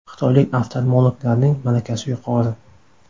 Xitoylik oftalmologlarning malakasi yuqori.